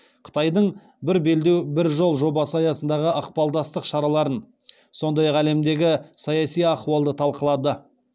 қытайдың бір белдеу бір жол жобасы аясындағы ықпалдастық шараларын сондай ақ әлемдегі саяси ахуалды талқылады